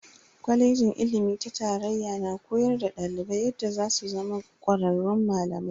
Kwalejin ilimi ta tarayya na koyar da dalibai yadda zasu zama kwararrun malamai.